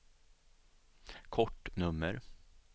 kortnummer